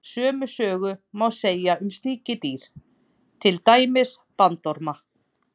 Sömu sögu má segja um sníkjudýr, til dæmis bandorma.